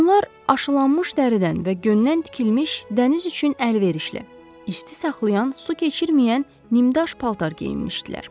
Onlar aşılanmış dəridən və göndən tikilmiş dəniz üçün əlverişli, isti saxlayan, su keçirməyən nimdaş paltar geyinmişdilər.